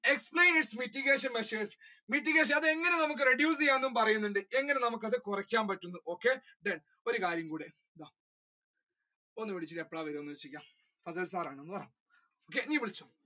explain its mitigation measures, mitigation അത് നമ്മുക്ക് എങ്ങനെ reduce ചെയ്യാം എന്ന് പറയുന്നുണ്ട് എങ്ങനെ നമ്മുക്ക് അത് കുറക്കാൻ പറ്റും ഒരു കാര്യം കൂടി